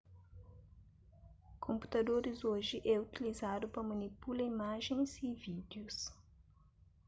konputadoris oji é utilizadu pa manipula imajens y vídius